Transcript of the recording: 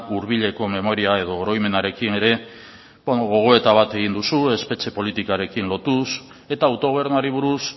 hurbileko memoria edo oroimenarekin ere hor gogoeta bat egin duzu espetxe politikoarekin lotuz eta autogobernuari buruz